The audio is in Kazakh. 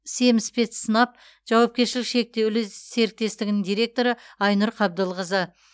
семспецснаб жауапкершілігі шектеулі серіктестігінің директоры айнұр қабдылқызы